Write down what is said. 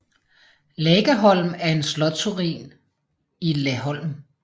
Lagaholm er en slotsruin i Laholm